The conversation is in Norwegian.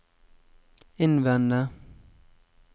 innvende